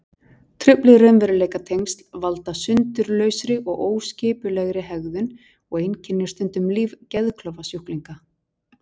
Trufluð raunveruleikatengsl valda sundurlausri og óskipulegri hegðun og einkennir stundum líf geðklofasjúklinga.